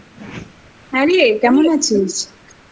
হ্যাঁরে! কেমন আছিস ?